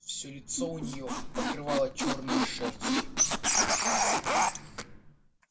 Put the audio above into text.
все лицо у нее покрывала чёрная шерсть